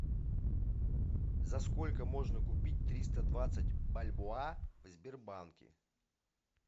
за сколько можно купить триста двадцать бальбоа в сбербанке